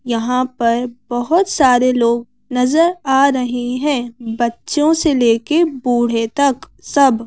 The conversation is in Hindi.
यहां परबहुत सारे लोगनजर आ रहे हैं बच्चों से लेके बूढ़े तक सब।